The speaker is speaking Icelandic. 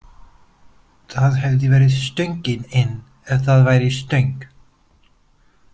Það hefði verið stöngin inn ef það væri stöng!